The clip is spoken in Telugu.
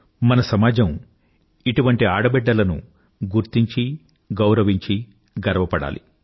మన సమాజం ఇటువంటి ఆడబిడ్డలను గుర్తించి గౌరవించి గర్వపడాలి